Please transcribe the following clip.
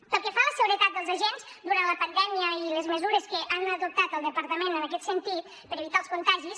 pel que fa a la seguretat dels agents durant la pandèmia les mesures que ha adoptat al departament en aquest sentit per evitar els contagis